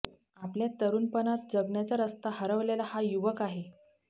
आपल्या तरूणपणात जगण्याचा रस्ता हरवलेला हा युवक आहे